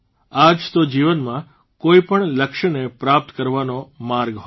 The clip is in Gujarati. આ જ તો જીવનમાં કોઇપણ લક્ષને પ્રાપ્ત કરવાનો માર્ગ હોય છે